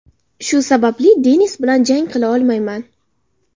Shu sababli Denis bilan jang qila olmayman.